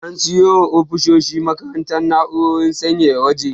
An siyo wa ofisoshin makarantar na'urar sanyaya waje.